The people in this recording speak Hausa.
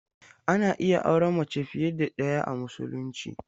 Ana iya auren mace fiye da ɗaya a Musulunci.